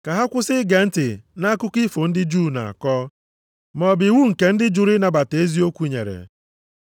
ka ha kwụsị ige ntị nʼakụkọ ifo ndị Juu na-akọ, maọbụ iwu nke ndị jụrụ ịnabata eziokwu nyere.